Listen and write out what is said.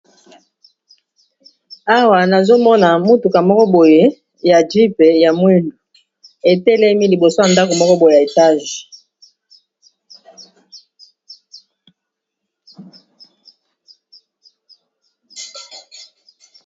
Awa nazomona mutuka moko boye ya Jip, ya mwindu, etelemi liboso ya ndako moko boye ya molai.